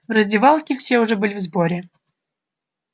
в раздевалке все уже были в сборе